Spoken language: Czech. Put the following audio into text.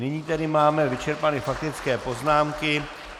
Nyní tedy máme vyčerpány faktické poznámky.